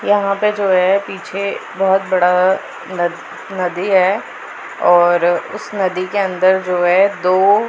यहाँ पे जो है पीछे बहोत बड़ा ना नदी है और उस नदी के अंदर जो है दो--